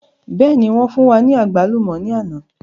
Bẹ́ẹ̀ni wọn fún wa ní àgbálùmọ̀ ni àná